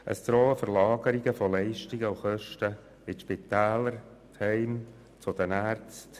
Es drohen Verlagerungen von Leistungen und Kosten in die Spitäler, die Pflegeheime und zu den Ärzten.